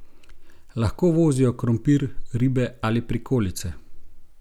Lahko vozijo krompir, ribe ali prikolice.